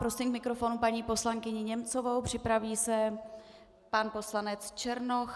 Prosím k mikrofonu paní poslankyni Němcovou, připraví se pan poslanec Černoch.